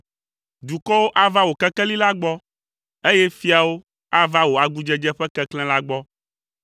Dukɔwo ava wò kekeli la gbɔ, eye fiawo ava wò agudzedze ƒe keklẽ la gbɔ.